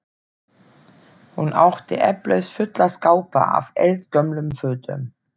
Hún átti eflaust fulla skápa af eldgömlum fötum.